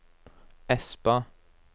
Espa